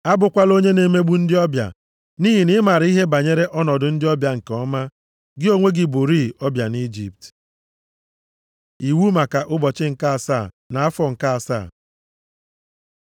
“Abụkwala onye na-emegbu ndị ọbịa, nʼihi na ị maara ihe banyere ọnọdụ ndị ọbịa nke ọma. Gị onwe gị bụrịị ọbịa nʼIjipt. Iwu maka Ụbọchị nke asaa na afọ nke asaa